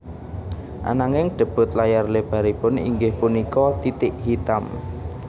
Ananging debut layar lebaripun inggih punika Titik Hitam